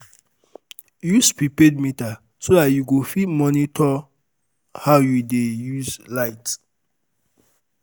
use prepaid meter so dat yu go um fit monitor how yu dey um um use light um